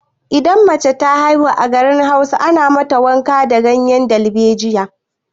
Idan mace ta haihu a garin Hausa, ana mata wanka da ganyen dalbejiya.